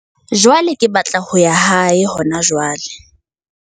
Jwale ke batla ho ya hae hona jwale.